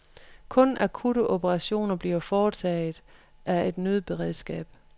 Kun akutte operationer bliver foretaget af et nødberedskab.